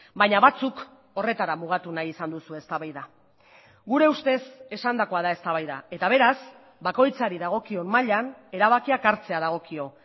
baina batzuk horretara mugatu nahi izan duzue eztabaida gure ustez esandakoa da eztabaida eta beraz bakoitzari dagokion mailan erabakiak hartzea dagokio